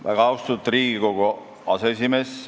Väga austatud Riigikogu aseesimees!